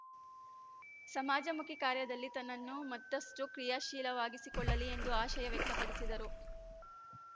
ಸಮಾಜಮುಖಿ ಕಾರ್ಯದಲ್ಲಿ ತನ್ನನ್ನು ಮತ್ತಷ್ಟುಕ್ರಿಯಾಶೀಲವಾಗಿಸಿಕೊಳ್ಳಲಿ ಎಂದು ಆಶಯ ವ್ಯಕ್ತಪಡಿಸಿದರು